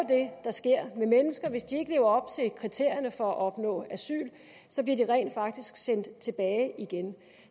der sker med mennesker hvis de ikke lever op til kriterierne for at opnå asyl så bliver de rent faktisk sendt tilbage igen